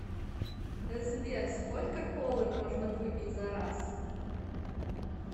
сбер сколько колы можно выпить за раз